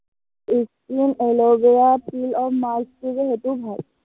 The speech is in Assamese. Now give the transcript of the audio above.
skin aloe vera peel of mask টো যে সেইটোও ভাল।